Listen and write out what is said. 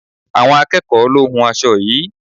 Àwọn akẹ́ẹ̀kọ lo hún aṣo yií.